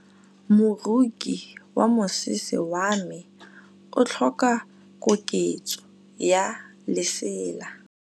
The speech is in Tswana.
Moroki wa mosese wa me o tlhoka koketsô ya lesela.